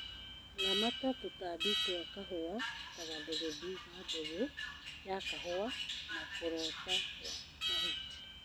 Ramata tũtambi twa kahũa ta gathegethi ga mbegũ ya kahũa na kũrota gwa mahuti